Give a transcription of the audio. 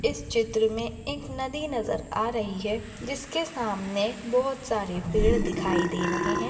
इस चित्र मे एक नदी नज़र आ रही है जिसके सामने बहुत सारे पेड़ दिखाई दे रहे है।